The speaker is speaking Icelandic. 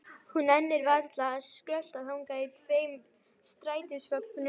Hún nennir varla að skrölta þangað í tveim strætisvögnum.